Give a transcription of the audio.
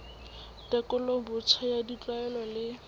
tekolo botjha ya ditlwaelo le